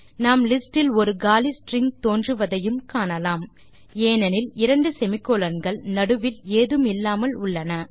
நாம் லிஸ்ட் இல் ஒரு காலி ஸ்ட்ரிங் தோன்றுவதையும் காணலாம் ஏனெனில் இரண்டு சேமி கோலோன் கள் நடுவில் ஏதுமில்லாமல் உள்ளன